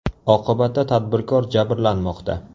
Oqibatda tadbirkor jabrlanmoqda.